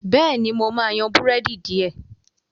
béèni mọ má yan Búrẹ́dì diẹ.